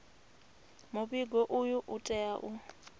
muvhigo uyu u tea u